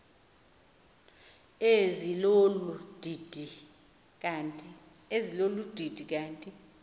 ezilolu didi kanti